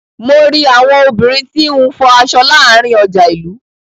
Mo ri àwọn obìnrin tí n fọ aṣọ láàárín ọjà ilú.